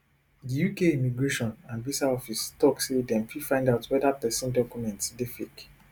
diuk immigration and visa officetok say dem fit find out weda pesin documents dey fake